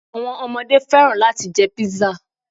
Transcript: Àwọn omodé fẹ́ràn láti jẹ Pizza